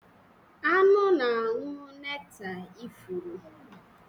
Anụ na-aṅụ nektar ifuru.